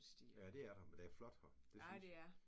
Ja der er der. Det flot her det synes jeg